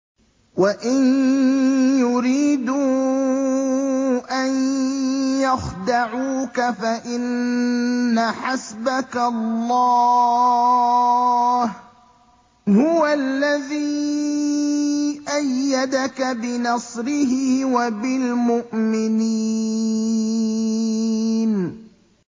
وَإِن يُرِيدُوا أَن يَخْدَعُوكَ فَإِنَّ حَسْبَكَ اللَّهُ ۚ هُوَ الَّذِي أَيَّدَكَ بِنَصْرِهِ وَبِالْمُؤْمِنِينَ